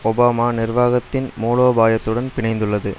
Obama நிர்வாகத்தின் மூலோபாயத்துடன் பிணைந்துள்ளது